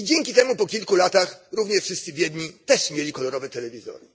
Dzięki temu po kilku latach również wszyscy biedni mieli kolorowy telewizor.